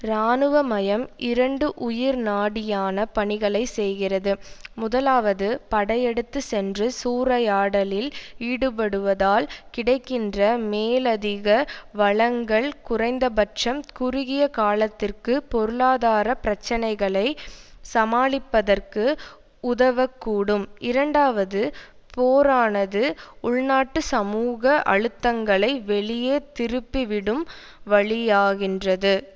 இராணுவ மயம் இரண்டு உயிர்நாடியான பணிகளை செய்கிறது முதலாவது படையெடுத்து சென்று சூறையாடலில் ஈடுபடுவதால் கிடைக்கின்ற மேலதிக வழங்கள் குறைந்தபட்சம் குறுகிய காலத்திற்கு பொருளாதார பிரச்சனைகளை சமாளிப்பதற்கு உதவ கூடும் இரண்டாவது போரானது உள்நாட்டு சமூக அழுத்தங்களை வெளியே திருப்பிவிடும் வழியாகின்றது